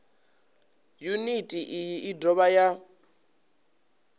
yuniti iyi i dovha ya